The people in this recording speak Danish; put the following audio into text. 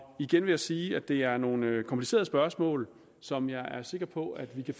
igen vil jeg sige at det er nogle komplicerede spørgsmål som jeg er sikker på at vi kan